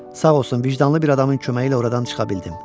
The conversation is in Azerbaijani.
Sağ olsun, vicdanlı bir adamın köməyi ilə oradan çıxa bildim.